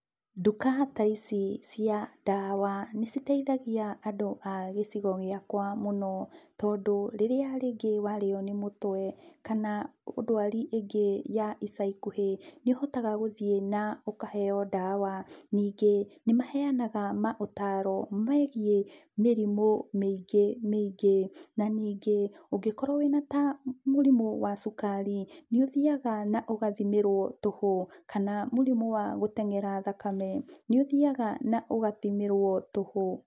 Nduka ta ici cia ndawa nĩciteithagia andũ agĩcigo gĩakwa mũno tondũ rĩrĩa rĩngĩ ũrarĩwa nĩ mũtwe kana dwari ĩngĩ ya ica ikuhĩ nĩũhotaga gũthiĩ na ũkaheo ndawa, ningĩ nĩmaheanaga maũtaro megiĩ mĩrimũ mĩingĩ mĩingĩ na ningĩ ũngĩkorwa wĩna mĩrimũ ta cukari nĩũthiaga na ũkathimĩrwa tũhu kana mũrimũ wa gũtengera thakame nĩũthiaga na ũgathimĩrwo tũhu.